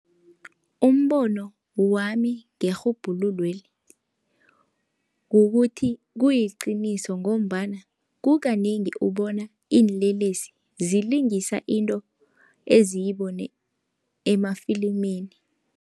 Umbono wami ngerhubhululweli kukuthi, kuliqiniso ngombana kukanengi ubona iinlelesi zilingisa into eziyibone emafilimini.